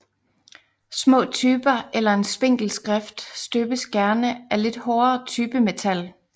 Små typer eller en spinkel skrift støbes gerne af lidt hårdere typemetal